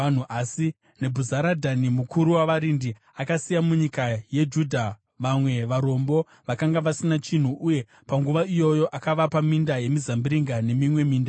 Asi Nebhuzaradhani mukuru wavarindi akasiya munyika yeJudha vamwe varombo vakanga vasina chinhu; uye panguva iyoyo akavapa minda yemizambiringa nemimwe minda.